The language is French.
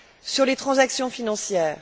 sur les transactions financières.